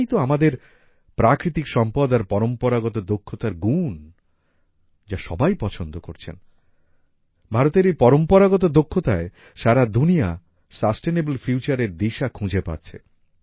এটাই তো আমাদের প্রাকৃতিক সম্পদ আর পরম্পরাগত দক্ষতার গুণ যা সবাই পছন্দ করছেন ভারতের এই পরম্পরাগত দক্ষতায় সারা দুনিয়া সাসটেনেবল ফিউচার এর দিশা খুঁজে পাচ্ছে